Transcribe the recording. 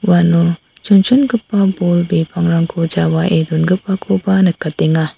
uano chonchongipa bol bipangrangko jawaie dongipakoba nikatenga.